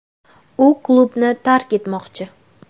U klubni tark etmoqchi.